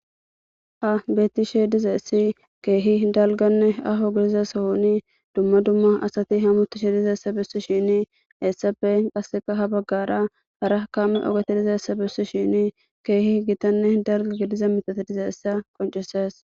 ha betti she diza essi keehi dalganne aho gidiza sohoni dumma dumma asati hamutishe dizaessa bessi shini essafe qasseka ha baggara hara kaamme ogate dizaessa bissi shini keehi gitanne dala giliza mitati dizaessa qonceses